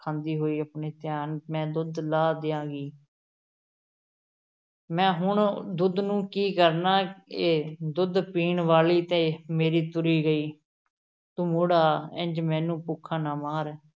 ਖਾਂਦੀ ਹੋਈ ਆਪਣੇ ਧਿਆਨ ਮੈਂ ਦੁੱਧ ਲਾਹ ਦਿਆਂਗੀ ਮੈਂ ਹੁਣ ਦੁੱਧ ਨੂੰ ਕੀ ਕਰਨਾ ਏ, ਦੁਧ ਪੀਣ ਵਾਲ਼ੀ ਤੇ ਮੇਰੀ ਤੁਰ ਗਈ, ਤੂੰ ਮੁੜ ਆ, ਇੰਞ ਮੈਨੂੰ ਭੁੱਖਾ ਨਾ ਮਾਰ।